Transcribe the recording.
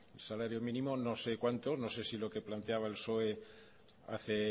el salario mínimo no sé cuanto no sé si lo que planteaba el psoe hace